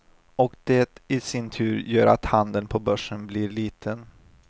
Och det i sin tur gör att handeln på börsen blir liten.